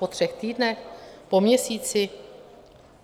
Po třech týdnech, po měsíci?